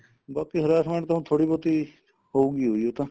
ਬਾਕੀ harassment ਤਾਂ ਹੁਣ ਥੋੜੀ ਬਹੁਤੀ ਹੋਊਗੀ ਉਈ ਉਹ ਤਾਂ